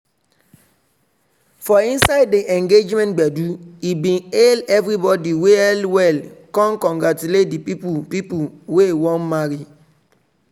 for inside di engagement gbedu he bin hail everybodi well well con congratulate di people people wey wan marry.